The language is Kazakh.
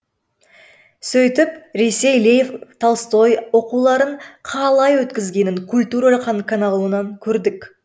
сөйтіп ресей лев толстой оқуларын қалай өткізгенін культура каналынан көрдік